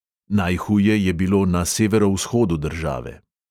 Najhuje je bilo na severovzhodu države.